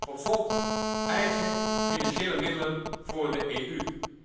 Tot slot, eigen financiële middelen voor de EU.